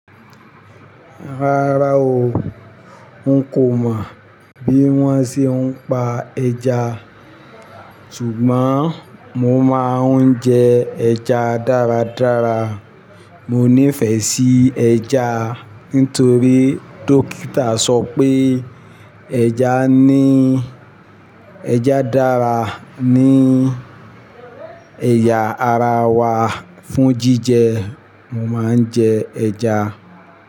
Rárá o, n kò mọ̀ bí wọ́n ṣe ń pa ẹja, ṣùgbọ́n mo máa ń jẹ ẹja dáradára. Mọ nífẹ̀ẹ́ sí ẹja, nítorí dókítà sọ pé ẹja ní, ẹja dára ní ẹ̀yà ara wa. Fún jíjẹ, mo máa ń jẹ ẹja.